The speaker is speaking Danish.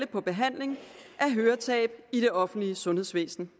på behandling af høretab i det offentlige sundhedsvæsen